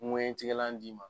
ŋɛɲɛ tigɛlan d'i ma